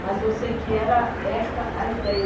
Mas eu sei que era esta a ideia.